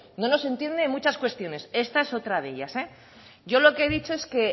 no nos entiendo en muchas cuestiones esta es otra de ellas yo lo que he dicho es que